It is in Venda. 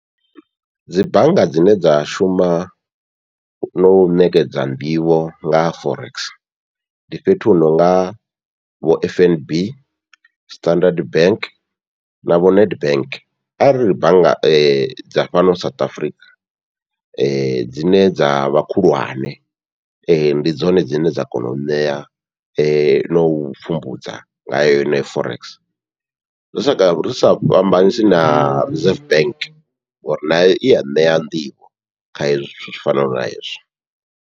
Dzi bannga dzine dza shuma no ṋekedza nḓivho nga forex, ndi fhethu hu nonga vho F N B, Standard Bank, navho Nedbank ariri bannga dza fhano South Africa dzine dzavha khulwane ndi dzone dzine dza kona u ṋea nau pfhumbudza nga yeneyo forex, zwi sa ri sa fhambanisi na Reserve bank ngori nayo iya ṋea nḓivho kha hezwi zwithu tshi fanaho na hezwi.